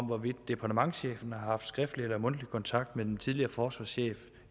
hvorvidt departementschefen har haft skriftlig eller mundtlig kontakt med den tidligere forsvarschef